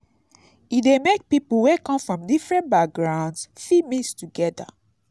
e de make pipo wey come from different backgroungs fit mix together